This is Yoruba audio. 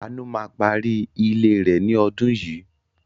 Àánú ma parí ilé rẹ̀ lọ́dún yìí.